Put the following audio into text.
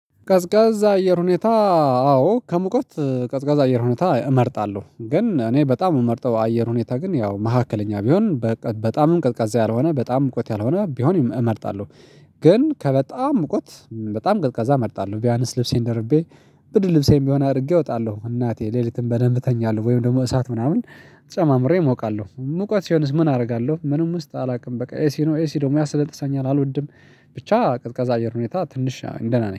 ቀዝቃዛ አየር ሁኔታ አዎ ከሙቀት ቀዝቃዛ አየር ሁኔታ እመርጣለሁ ግን እኔ በጣም የምመርጠው አየር ሁኔታ ግን ያው መካከለኛ ቢሆን በጣም ቅዝቃዛ ያልሆነ በጣም ሙቀት ያልሆነ ቢሆን እመርጣለሁ። ግን ከበጣም እውቀት በጣም ቀልቀዛ እመርጣለሁ ቢያነስ ልብሴን ደርቤ ብድር ልብሴንም ቢሆን አድርጌ እወጣለሁ እናቴ ሌሊትም በደንብ እተኛለሁ ወይም ደግሞ እሳት ምናምን ጨማምሬ እሞቃለሁ። ሙቀት ሲሆንስ ምን አደርጋለሁ ምንም ውስጥ አላውቅም በቃ ኤሲ ነው ኤሲ ደግሞ ያስነጥሰኛል አልወድም ብቻ ቅድቀዛ አየር ሁኔታ ትንሽ ደህና ነኝ።